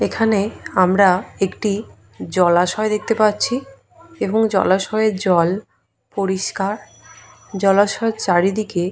এখানে আমরা একটি জলাশয় দেখতে পাচ্ছি এবং জলাশয় জল পরিস্কার জলাশয় চারিদিকে